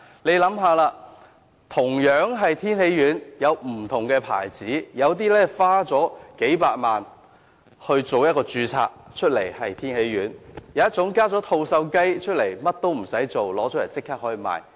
試想想，同樣是天喜丸，有些品牌花了數百萬元註冊，有品牌加入吐綬雞便可立即發售。